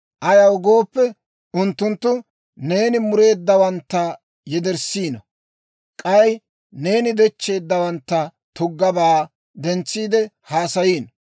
Ayaw gooppe, unttunttu, neeni mureeddawantta yederssiino; k'ay neeni dechcheeddawanttu tuggaabaa dentsiide haasayiino.